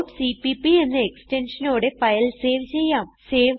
dot CPP എന്ന extensionനോടെ file save ചെയ്യാം